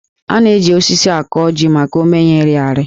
A na-eji osisi akọ jí maka ómé ya ịrị arị